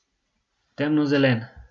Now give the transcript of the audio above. Temnozelen.